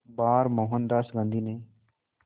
बार मोहनदास गांधी ने